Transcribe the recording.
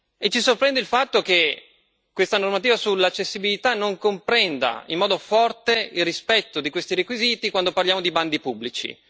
E ci sorprende il fatto che questa normativa sull'accessibilità non comprenda in modo forte il rispetto di questi requisiti quando parliamo di bandi pubblici.